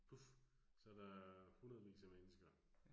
Puf, så der hundredevis af mennesker